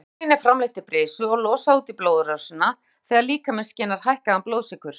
Insúlín er framleitt í brisi og losað út í blóðrásina þegar líkaminn skynjar hækkaðan blóðsykur.